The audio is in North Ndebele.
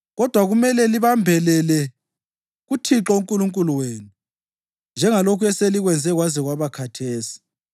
Kodwa kumele libambelele kuThixo uNkulunkulu wenu njengalokhu eselikwenze kwaze kwaba khathesi.